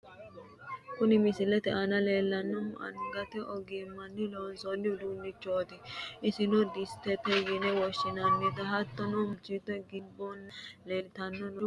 kuni misilete aana leellannohu angate ogimmanni loonsoonni uduunnichooti iseno dissitete yine woshshinanni. hattono muleseenni gimbooluno leellanni no busha bayiichooti noohu.